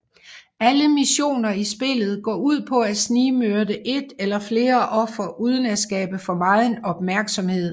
Alle missioner i spillet går ud på at snigmyrde et eller flere ofre uden at skabe for meget opmærksomhed